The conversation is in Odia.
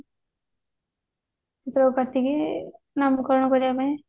ଯୋଉ କାଟିକି ନାମକରଣ କରିବା ପାଇଁ